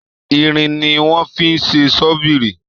Irin ni wón fi ṣe ṣọ́bìrì